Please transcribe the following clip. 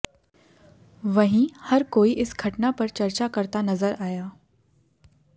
वहीं हर कोई इस घटना पर चर्चा करता नजर आया